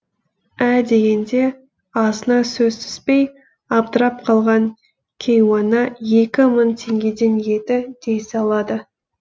ә дегенде азына сөз түспей абдырап қалған кейуана екі мың теңгеден еді дей салады